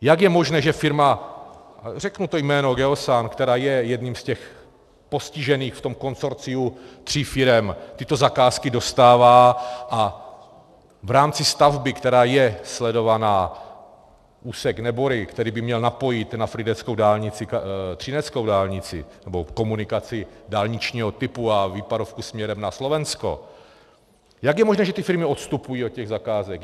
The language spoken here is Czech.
Jak je možné, že firma - řeknu to jméno - Geosan, která je jedním z těch postižených v tom konsorciu tří firem, tyto zakázky dostává a v rámci stavby, která je sledovaná, úsek Nebory, který by měl napojit na frýdeckou dálnici třineckou dálnici nebo komunikaci dálničního typu a výpadovku směrem na Slovensko, jak je možné, že ty firmy odstupují od těch zakázek?